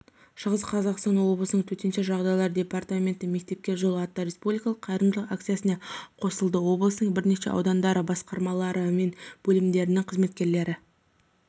шығыс қазақстан облысының төтенше жағдайлар департаменті мектепке жол атты республикалық қайырымдылық акциясына қосылды облыстың бірнеше аудандарында басқармалары мен бөлімдерінің қызметкерлері